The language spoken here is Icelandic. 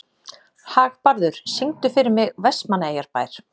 Hagbarður, syngdu fyrir mig „Vestmannaeyjabær“.